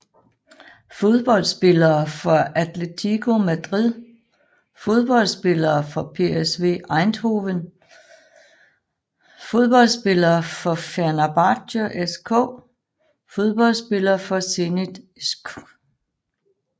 Fodboldspillere fra Atlético Madrid Fodboldspillere fra PSV Eindhoven Fodboldspillere fra Fenerbahçe SK Fodboldspillere fra Zenit Skt